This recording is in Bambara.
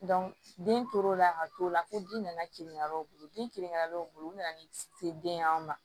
den tor'o la ka t'o la ko ji nana kilen karew bolo den kelen-kelenw bolo u nana ni se den y'an ma